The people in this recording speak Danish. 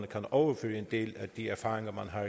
kan overføre en del af de erfaringer man har